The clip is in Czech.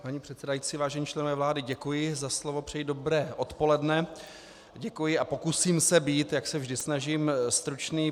Paní předsedající, vážení členové vlády, děkuji za slovo, přeji dobré odpoledne, děkuji a pokusím se být, jak se vždy snažím, stručný.